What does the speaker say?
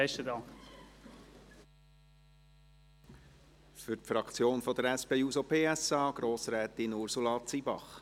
Für die Fraktion der SP-JUSO-PSA: Grossrätin Ursula Zybach.